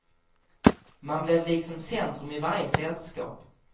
Man blev liksom centrum i varje sällskap.